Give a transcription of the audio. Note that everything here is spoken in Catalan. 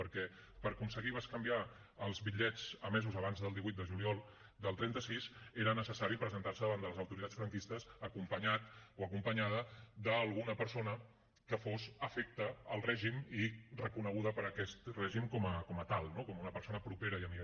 perquè per aconseguir bescanviar els bitllets emesos abans del divuit de juliol del trenta sis era necessari presentar se davant de les autoritats franquistes acompanyat o acompanyada d’alguna persona que fos afecte al règim i reconeguda per aquest règim com a tal no com una persona propera i amiga